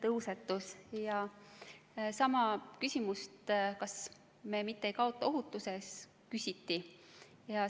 Sedasama, kas me mitte ei kaota ohutuses, küsiti.